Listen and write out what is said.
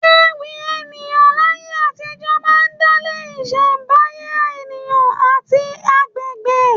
Ewì ènìyàn láyé àtijó máa ń dálé isembaye ènìyàn àti àgbègbè.